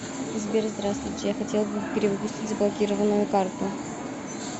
сбер здравствуйте я хотел бы перевыпустить заблокированную карту